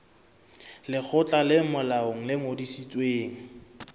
lekgotla le molaong le ngodisitsweng